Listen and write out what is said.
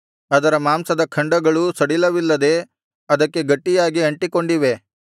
ಅದರ ಮಾಂಸದ ಖಂಡಗಳು ಸಡಿಲವಿಲ್ಲದೆ ಅದಕ್ಕೆ ಗಟ್ಟಿಯಾಗಿ ಅಂಟಿಕೊಂಡಿವೆ